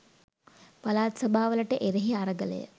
පළාත් සභාවලට එරෙහි අරගලය